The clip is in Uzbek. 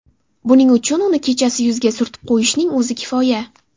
Buning uchun uni kechasi yuzga surtib qo‘yishning o‘zi kifoya.